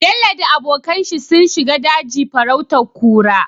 Bello da abokan shi sun shiga daji farautar kura